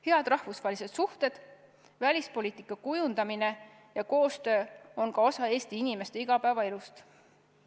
Head rahvusvahelised suhted, välispoliitika kujundamine ja koostöö on ka osa Eesti inimeste igapäevaelust.